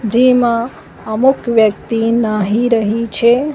જેમા અમુક વ્યક્તિ નાહી રહી છે.